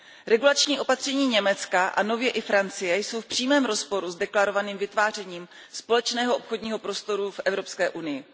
Regulační opatření Německa a nově i Francie jsou v přímém rozporu s deklarovaným vytvářením společného obchodního prostoru v Evropské unii.